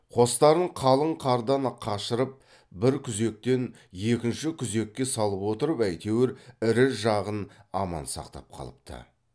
қостарын қалын қардан қашырып бір күзектен екінші күзекке салып отырып әйтеуір ірі жағын аман сақтап қалыпты